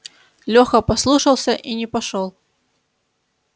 леха послушался и не пошёл